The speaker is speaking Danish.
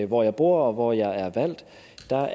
hvor jeg bor og hvor jeg er valgt